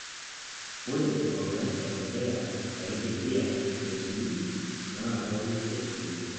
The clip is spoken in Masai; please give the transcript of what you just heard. Ore enkolong edukuya paitimbiyan tesuul naa kaurisho oleng'